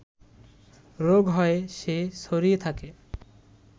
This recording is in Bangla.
রোগ হয়ে সে ছড়িয়ে থাকে